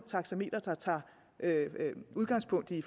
taxameter der tager udgangspunkt i